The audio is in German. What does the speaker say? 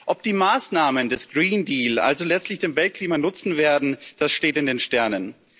Ob die Maßnahmen des Green Deal also letztlich dem Weltklima nutzen werden, das steht in den Sternen.